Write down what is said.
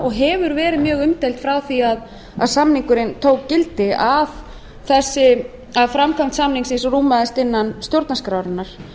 og hefur verið mjög umdeild frá því að samningurinn tók gildi að framkvæmd samningsins rúmaðist innan stjórnarskrárinnar